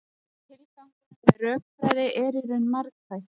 Tilgangurinn með rökfræði er í raun margþættur.